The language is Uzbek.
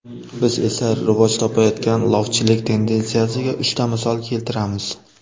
Biz esa rivoj topayotgan lofchilik tendensiyasiga uchta misol keltiramiz.